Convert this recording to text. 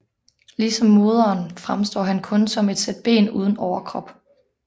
Ligesom moderen fremstår han kun som et sæt ben uden overkrop